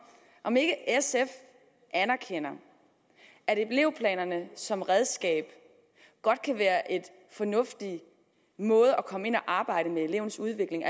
om ikke sf anerkender at elevplanerne som redskab godt kan være en fornuftig måde at komme ind at arbejde med elevens udvikling